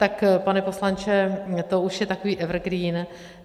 Tak pane poslanče, to už je takový evergreen.